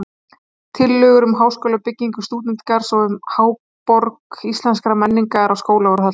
Tillögur um háskólabyggingu, stúdentagarð og um Háborg íslenskrar menningar á Skólavörðuholti.